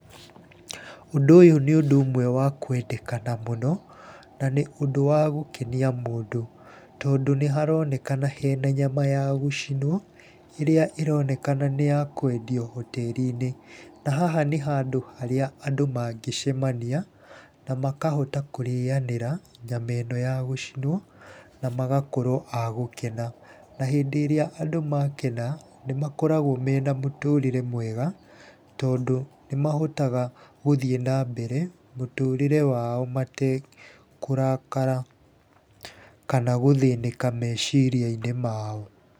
Ũndũ ũyũ nĩ ũndũ ũmwe wa kuendekana mũno, na nĩ ũndũ wa gũkenia mũndũ tondũ nĩharonekana hena nyama ya gũcinwo ĩrĩa ĩronekana nĩ ya kwendio hoteri-inĩ. Na haha nĩ handũ harĩa andũ mangĩcemania na makahota kũrĩanĩra nyama ĩno ya gũcinwo, na magakorwo a gũkena. Na hĩndĩ ĩrĩa andũ makena nĩ makoragwo mena mũtũrĩre mwega, tondũ nĩ mahotaga gũthiĩ na mbere mũtũrĩre wao matekũrakara kana gũthĩnĩka meciria-inĩ mao.